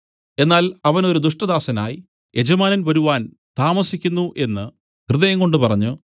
എന്നാൽ അവൻ ഒരു ദുഷ്ടദാസനായി യജമാനൻ വരുവാൻ താമസിക്കുന്നു എന്നു ഹൃദയംകൊണ്ട് പറഞ്ഞു